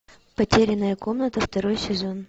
потерянная комната второй сезон